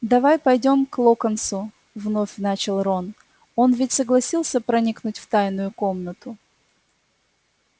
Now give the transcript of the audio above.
давай пойдём к локонсу вновь начал рон он ведь согласился проникнуть в тайную комнату